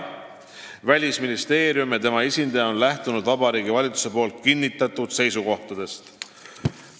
Välisministeerium ja tema esindaja on lähtunud Vabariigi Valitsuse kinnitatud seisukohtadest.